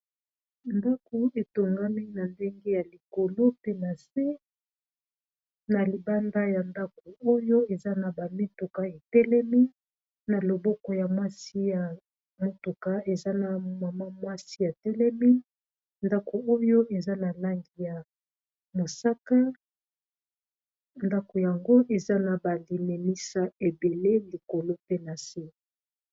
Ndaku etongami na ndenge ya likolo pe na se na libanda ya ndako oyo eza na bamituka etelemi, na loboko ya mwasi ya motuka eza na mama mwasi ya telemi, ndako oyo eza na langi ya mosaka ndako yango eza na baliminisa ebele likolo pe na se.